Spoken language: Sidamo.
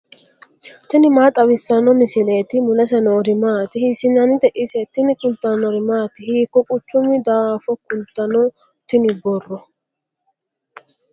tini maa xawissanno misileeti ? mulese noori maati ? hiissinannite ise ? tini kultannori maati? hiiko quchummi daaffo kulittanno tinni borro?